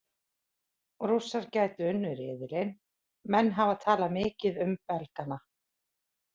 Rússar gætu unnið riðilinn Menn hafa talað mikið um Belgana.